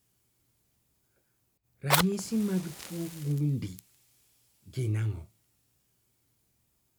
ranyisi mag tuo gundi gin ang'o?